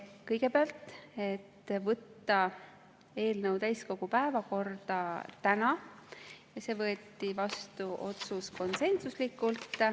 Kõigepealt, võtta eelnõu täiskogu päevakorda täna, see otsus võeti vastu konsensuslikult.